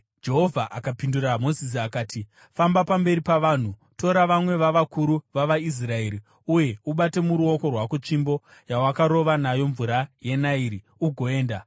Jehovha akapindura Mozisi akati, “Famba pamberi pavanhu. Tora vamwe vavakuru vavaIsraeri uye ubate muruoko rwako tsvimbo yawakarova nayo mvura yeNairi, ugoenda.